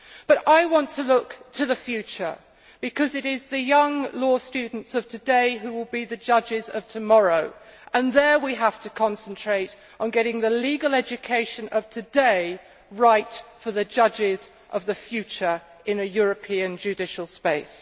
But I want to look to the future, because it is the young law students of today who will be the judges of tomorrow, and there we have to concentrate on getting the legal education of today right for the judges of the future in a European judicial space.